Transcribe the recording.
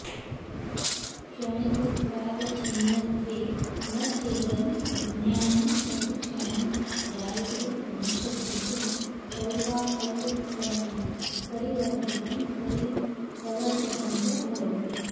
क्षणिकत्वावच्छिन्नत्वेन चेदं विज्ञानं प्रतिक्षणं जायते नश्यति च पौर्वापर्यक्रमेण परिवर्तितं प्रवर्तितञ्च भवति